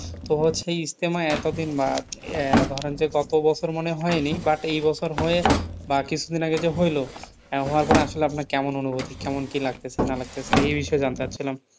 তো বলছি ইজতেমা এতদিন বাদ. ধরেনতো কত বছর মনে হয়নি but এই বছর হয়ে বা কিছুদিন আগে যে হইলো, তা হওয়ার পরে আসলে আপনার কেমন অনুভূতি? কেমন কি লাগতেছে না লাগতেছে এই বিষয়ে জানতে চাচ্ছিলাম?